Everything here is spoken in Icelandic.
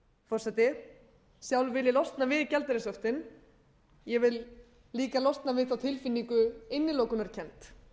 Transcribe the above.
forseti sjálf vil ég losna við gjaldeyrishöftin ég vil líka losna við þá tilfinningu innilokunarkennd